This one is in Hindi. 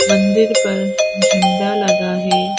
मंदिर पर झंडा लगा है।